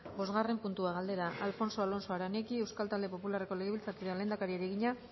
bosgarren puntua galdera alfonso alonso aranegui euskal talde popularreko legebiltzarkideak lehendakariari egina